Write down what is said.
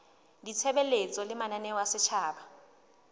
ditshebeletso le mananeo a setjhaba